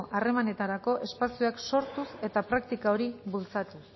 harremanetarako espazioak sortuz eta praktika hori bultzatuz